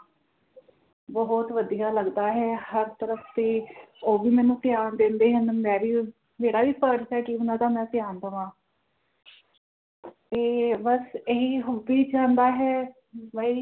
ਬੋਹੋਤ ਵਧੀਆ ਲੱਗਦਾ ਹੈ ਹਰ ਤਰਫ ਤੇ ਓ ਵੀ ਮੈਨੂੰ ਪਿਆਰ ਦਿੰਦੇ ਹਨ ਮੈਂ ਵੀ ਮੇਰਾ ਵੀ ਫਰਜ ਹੈ ਕਿ ਓਹਨਾ ਦਾ ਮੈਂ ਧਿਆਨ ਦਵਾ ਤੇ ਬਸ ਏਹੀ ਹੁਬੀ ਜਾਂਦਾ ਹੈ ਬਈ